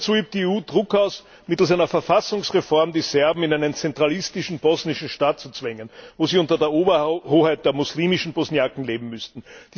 Noch dazu übt die EU Druck aus, mittels einer Verfassungsreform die Serben in einen zentralistischen bosnischen Staat zu zwängen, wo sie unter der Oberhoheit der muslimischen Bosniaken leben müssten.